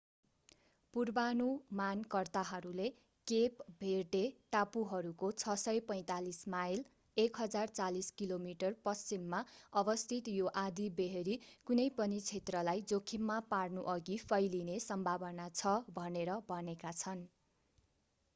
पूर्वानुमानकर्ताहरूले Cape Verde टापुहरूको 645 mile 1040 kilometre पश्चिममा अवस्थित यो आँधीबेहरी कुनै पनि क्षेत्रलाई जोखिममा पार्नुअघि फैलिने सम्भावना छ भनेर भनेका छन्‌।